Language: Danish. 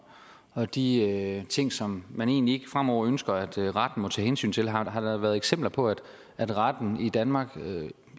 og de ting som man egentlig ikke fremover ønsker at retten må tage hensyn til har der været eksempler på at retten i danmark